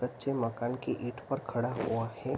बच्चे माकन की ईट पर खड़ा हुआ है।